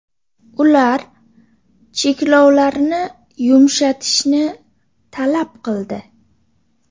Ular cheklovlarni yumshatishni talab qildi.